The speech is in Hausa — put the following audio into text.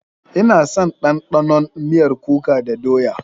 Ina son ɗanɗanon miyar kuka da doya.